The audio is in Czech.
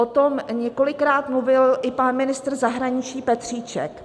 O tom několikrát mluvil i pan ministr zahraničí Petříček.